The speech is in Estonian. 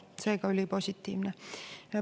Seega ülipositiivne.